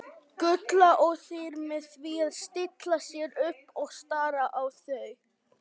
Gulla og þær með því að stilla sér upp og stara á þau.